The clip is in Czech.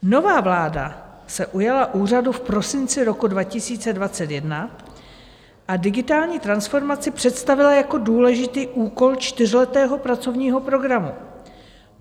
Nová vláda se ujala úřadu v prosinci roku 2021 a digitální transformaci představila jako důležitý úkol čtyřletého pracovního programu.